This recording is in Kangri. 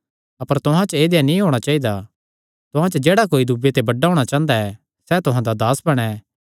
अपर तुहां च ऐदेया नीं होणा चाइदा तुहां च जेह्ड़ा कोई दूये ते बड्डा होणा चांह़दा ऐ सैह़ तुहां दा दास बणैं